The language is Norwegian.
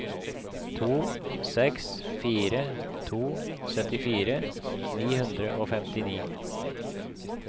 to seks fire to syttifire ni hundre og femtini